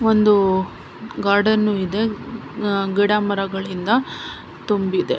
ಒಂದು ಗಾರ್ಡನು ಇದೆ ಅಹ್ ಗಿಡಮರಗಳಿಂದ ತುಂಬಿದೆ .